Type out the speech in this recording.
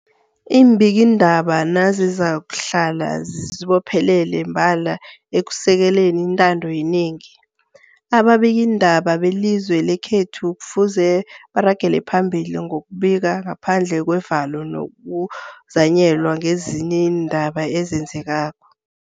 Iimbikiindaba nazizakuhlala zizibophelele mbala ekusekeleni intando yenengi, ababikiindaba belizwe lekhethu kufuze baragele phambili ngokubika ngaphandle kwevalo nokuzanyelwa ngezinye iindaba ezenzekako.